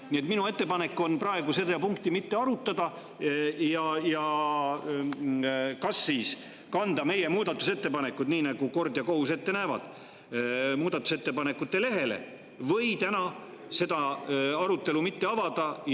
Nii et minu ettepanek on praegu seda punkti mitte arutada ja kas siis kanda meie muudatusettepanekud, nii nagu kord ja kohus ette näeb, muudatusettepanekute lehele või täna seda arutelu mitte avada.